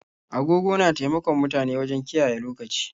Agogo na taimakon mutane wajen kiyaye lokaci.